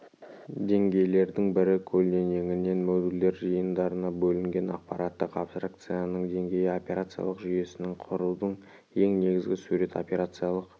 деңгейлердің бірі көлденеңінен модульдер жиындарына бөлінген аппараттық абстракцияның деңгейі операциялық жүйесін құрудың ең негізгі сурет операциялық